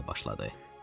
Başladı.